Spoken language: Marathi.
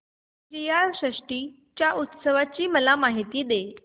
श्रीयाळ षष्टी च्या उत्सवाची मला माहिती दे